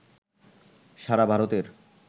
সারা ভারতের